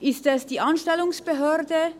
Ist es die Anstellungsbehörde?